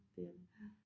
Det er det